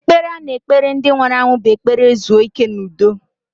Ekpere a na-ekpere ndị nwụrụ anwụ bụ ekpere zuo ike n'udo.